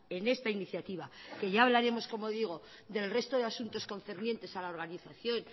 en esta iniciativa que ya hablaremos como digo del resto de asuntos concernientes a la organización